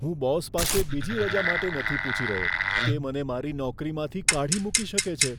હું બોસ પાસે બીજી રજા માટે નથી પૂછી રહ્યો. તે મને મારી નોકરીમાંથી કાઢી મૂકી શકે છે.